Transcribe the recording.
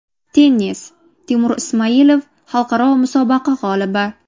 Tennis: Temur Ismoilov xalqaro musobaqa g‘olibi.